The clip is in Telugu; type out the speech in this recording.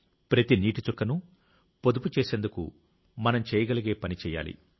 ప్రతి నీటి చుక్కను పొదుపు చేసేందుకు మనం చేయగలిగే పని చేయాలి